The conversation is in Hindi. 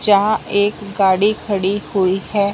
जहां एक गाड़ी खड़ी हुई है।